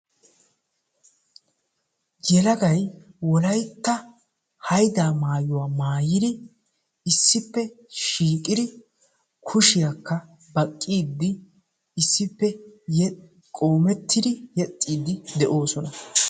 Yelagay wolaytta hayddaa maayuwaa maayidi issippe shiiqidi kushshiyaakka baqqiidi issippe qoomettidi yexxiidi de'oosona.